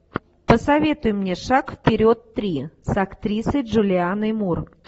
посоветуй мне шаг вперед три с актрисой джулианной мур